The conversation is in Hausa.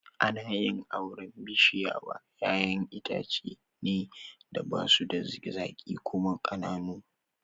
Ana yin auren bishiya wa ƴaƴan itace ne da basu da zaƙi kuma ƙananu